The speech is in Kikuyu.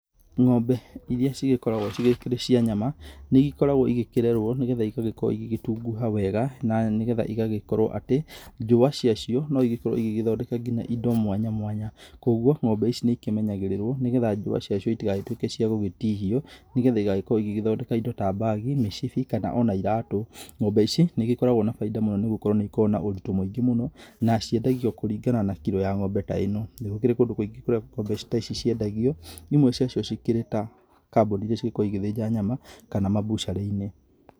Ng'ombe iria cigĩkoragwo cigĩkĩrĩ cia nyama nĩ ikoragwo igĩkĩrerwo nĩ getha igagĩkorwo igĩgĩtunguha wega na nĩ getha igagĩkorwo atĩ njũwa cia cio no igĩkorwo ĩgĩgĩthondeka nginya indo mwanya mwanya, kũguo ng'ombe ici nĩ ikĩmenyagĩrĩrwo nĩgetha njũwa cia cio itigagĩtuĩke cia gũgĩtihia nĩgetha igagĩkorwo igethondeka indo ta bags, mĩcibi, kana ona ĩratũ. Ng'ombe ici, ni igĩkoragwo na bainda mũno nĩ gũkorwo ni ikoragwo na ũritũ mũingĩ mũno na ciendagio kũringana na kiro ya ng'ombe ta ĩno. Nĩ gũkĩrĩ kũndũ kũingĩ kũrĩa ng'ombe ta ici ciendagio, imwe cia cio cikĩrĩ ta kambuni iria cigĩkoragwo igĩthĩnja nyama, kana mambucĩrĩ-inĩ.